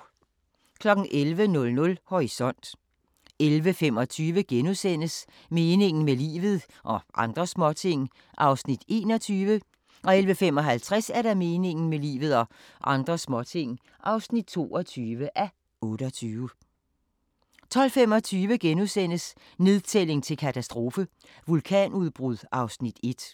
11:00: Horisont 11:25: Meningen med livet – og andre småting (21:28)* 11:55: Meningen med livet – og andre småting (22:28) 12:25: Nedtælling til katastrofe - vulkanudbrud (Afs. 1)*